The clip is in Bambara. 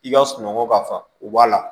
I ka sunɔgɔ ka fa o b'a la